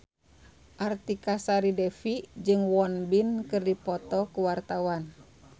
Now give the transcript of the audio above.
Artika Sari Devi jeung Won Bin keur dipoto ku wartawan